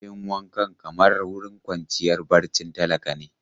Bayin wankan kamar wurin kwanciyar barcin talaka ne.